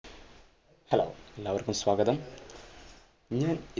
hello, എല്ലാവർക്കും സ്വാഗതം ഞാൻ